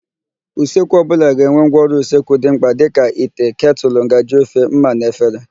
Usekwu ọbụla ga-enwe ngwaọrụ usekwu dị mkpa dịka: ite, ketụlụ, ngaji ofe, ḿmà na efere.